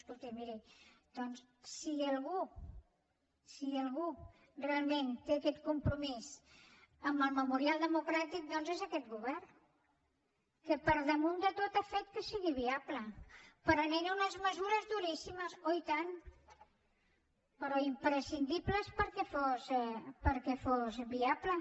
escolti miri si algú si algú realment té aquest compromís amb el memorial democràtic doncs és aquest govern que per damunt de tot ha fet que sigui viable prenent unes mesures duríssimes oi tant però imprescindibles perquè fos viable